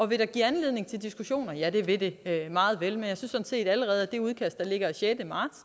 vil det give anledning til diskussioner ja det vil det meget vel men jeg synes set allerede at det udkast af sjette marts